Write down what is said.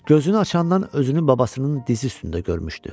Gözünü açandan özünü babasının dizi üstündə görmüşdü.